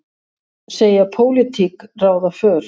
Segja pólitík ráða för